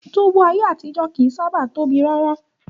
Túbú ayé àtijó kìí sábàá tóbi rárá.